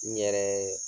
N yɛrɛ ye